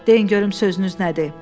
Deyin görüm sözünüz nədir?